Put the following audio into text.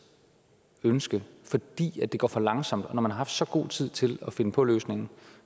ønske fordi det går for langsomt når man har haft så god tid til at finde på løsningen